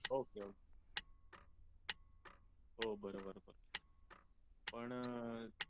okay okay हो बरोबर पण अह